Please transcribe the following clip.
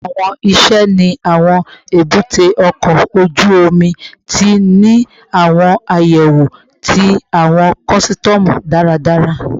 Awọn iṣẹ ni awọn ebute oko oju omi ti ni awọn ayewo ti awọn kọsitọmu daradara